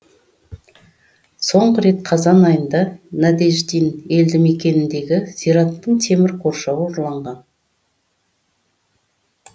соңғы рет қазан айында надеждин елді мекеніндегі зираттың темір қоршауы ұрланған